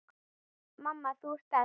Mamma, þú ert best.